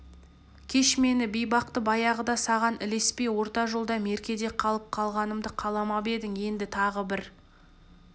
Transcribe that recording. кеш мен бейбақты баяғыда саған ілеспей орта жолда меркеде қалып қалғанымды қаламап едің енді тағы бір